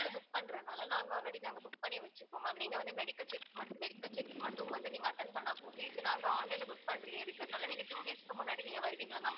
book பண்றதுனால நாங்க already நாங்க book பண்ணி வெச்சிப்போம் ma'am நீங்க வந்து medical check medical checkup மட்டும் வந்து நீங்க attend பண்ணா போதும். இப்போ நாங்க online ல book entry ய இருக்கிறனால நீங்க two days க்கு முன்னாடி வருவீங்கள ma'am